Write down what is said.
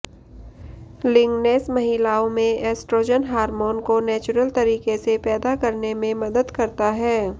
lignans महिलाओं में estrogen hormone को नेचुरल तरीके से पैदा करने में मदद करता है